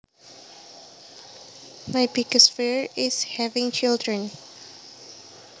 My biggest fear is having children